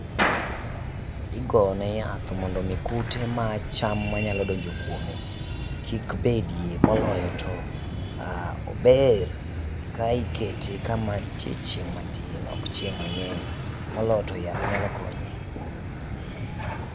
Igone yath mondo omi kute mag cham manyalo donjo kuome kik betie, moloyo to ober ka ikete kama ntie chieng' matin, ok chieng' mang'eny. Moloyo to yath nyalo konye.